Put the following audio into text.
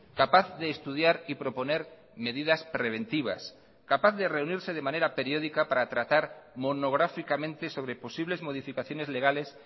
capaz de estudiar y proponer medidas preventivas capaz de reunirse de manera periódica para tratar monográficamente sobre posibles modificaciones legales